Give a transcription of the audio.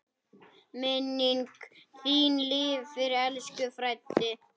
Minning þín lifir, elsku Freddi.